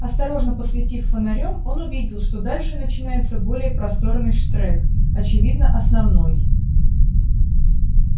осторожно посветив фонарём он увидел что дальше начинается более просторный штрек очевидно основной